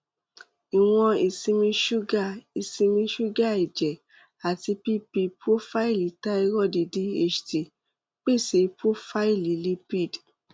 ìwọn ìsinmi ṣúgà ìsinmi ṣúgà ẹ̀jẹ̀ àti pp prófáìlì thyroid dht pèsè prófáìlì lipid